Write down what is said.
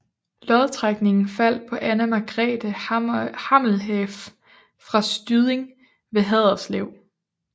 Lodtrækningen faldt på Anna Margrethe Hammeleff fra Styding ved Haderslev